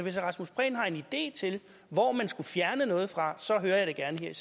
herre rasmus prehn har en idé til hvor man skulle fjerne noget fra så hører jeg det gerne